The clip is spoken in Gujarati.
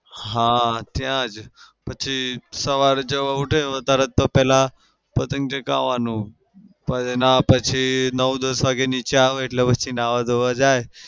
હા ત્યાં જ. પછી સવારે જેવો ઉઠે એવો તરત પેલા પતંગ ચગાવાનો ના પછી નવ દસ વાગે નીચે આવે એટલે પછી નાવા ધોવા જાય.